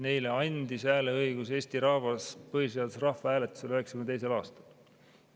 Neile andis hääleõiguse Eesti rahvas põhiseaduse rahvahääletusel 1992. aastal.